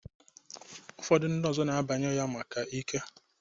Ụfọdụ ndị ọzọ na-abanye ya maka ike.